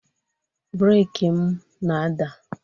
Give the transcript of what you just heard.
breeki m na-ada